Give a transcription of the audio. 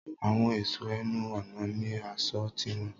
Àwọn èṣọ ẹnu ọ̀nà ní aṣọ tiwọn.